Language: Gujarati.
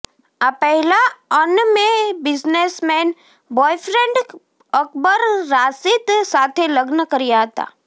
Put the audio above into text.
આ પહેલા અનમે બિઝનેસમેન બોયફ્રેન્ડ અકબર રાશીદ સાથે લગ્ન કર્યા હતા